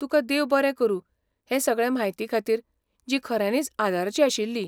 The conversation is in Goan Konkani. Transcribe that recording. तुका देव बरें करूं हे सगळे म्हायतीखातीर, जी खऱ्यानींच आदाराची आशिल्ली.